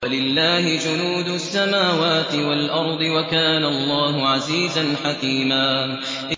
وَلِلَّهِ جُنُودُ السَّمَاوَاتِ وَالْأَرْضِ ۚ وَكَانَ اللَّهُ عَزِيزًا حَكِيمًا